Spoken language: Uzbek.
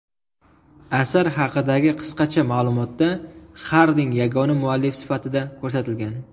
Asar haqidagi qisqacha ma’lumotda Xarding yagona muallif sifatida ko‘rsatilgan.